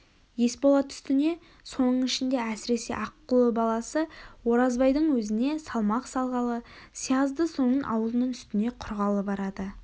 есболат үстіне соның ішінде әсіресе аққұлы баласы оразбайдың өзіне салмақ салғалы сиязды соның аулының үстінде құрғалы барады